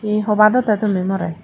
he hobado te tumi more.